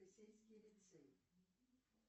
сельский лицей